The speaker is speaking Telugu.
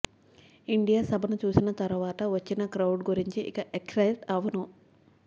ఇండియా సభను చూసిన తరువాత వచ్చిన క్రౌడ్ గురించి ఇక ఎక్సయిట్ అవను